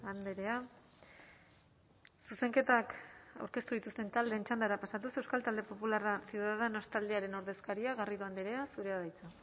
andrea zuzenketak aurkeztu dituzten taldeen txandara pasatuz euskal talde popularra ciudadanos taldearen ordezkaria garrido andrea zurea da hitza